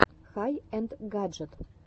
хай энд гаджет